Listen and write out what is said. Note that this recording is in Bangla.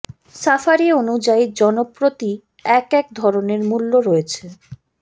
সাফারি অনুযায়ী জন প্রতি এক এক ধরনের মূল্য রয়েছে